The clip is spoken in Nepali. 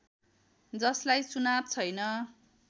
जसलाई चुनाव छैन